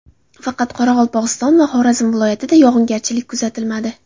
Faqat Qoraqalpog‘iston va Xorazm viloyatida yog‘ingarchilik kuzatilmadi.